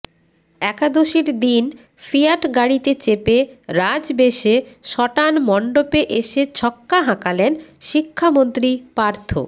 একাদশীর দিন ফিয়াট গাড়িতে চেপে রাজবেশে সটান মণ্ডপে এসে ছক্কা হাঁকালেন শিক্ষামন্ত্রী পার্থ